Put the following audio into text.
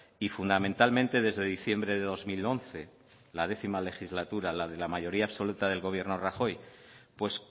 y fundamentalmente desde diciembre del dos mil once la décimo legislatura la de la mayoría absoluta del gobierno de rajoy pues